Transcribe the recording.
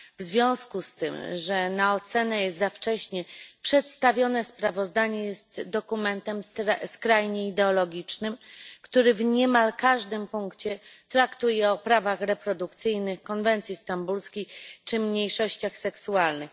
W związku z tym, że na ocenę jest za wcześnie, przedstawione sprawozdanie jest dokumentem skrajnie ideologicznym, który w niemal każdym punkcie traktuje o prawach reprodukcyjnych, konwencji stambulskiej czy mniejszościach seksualnych.